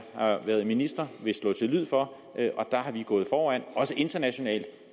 har været minister vil slå til lyd for og der har vi gået foran også internationalt